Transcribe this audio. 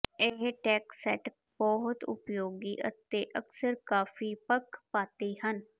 ਇਹ ਟੈਕਸਟ ਬਹੁਤ ਉਪਯੋਗੀ ਅਤੇ ਅਕਸਰ ਕਾਫ਼ੀ ਪੱਖਪਾਤੀ ਹਨ